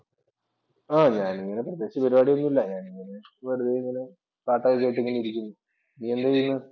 ആഹ് ഞാൻ ഇങ്ങനെ പ്രത്യേകിച്ച് പരിപാടിയൊന്നുമില്ല. ഞാൻ ഇങ്ങനെ വെറുതെ ഇങ്ങനെ പാട്ട് ഒക്കെ കേട്ട് ഇങ്ങനെ ഇരിക്കുന്നു. നീ എന്താ ചെയ്യന്നേ?